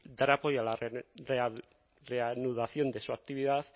dar apoyo a la reanudación de su actividad